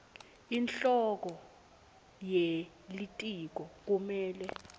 inhloko yelitiko kumele